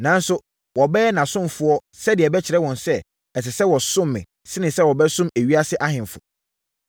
Nanso, wɔbɛyɛ nʼasomfoɔ sɛdeɛ ɛbɛkyerɛ wɔn sɛ, ɛsɛ sɛ wɔsom me sene sɛ wɔbɛsom ewiase ahemfo.”